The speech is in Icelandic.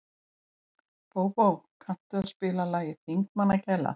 Bóbó, kanntu að spila lagið „Þingmannagæla“?